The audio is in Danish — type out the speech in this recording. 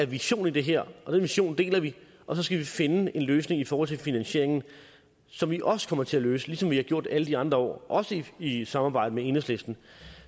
vision i det her og den vision deler vi og så skal vi finde en løsning i forhold til finansieringen som vi også kommer til at løse ligesom vi har gjort det alle de andre år også i samarbejde med enhedslisten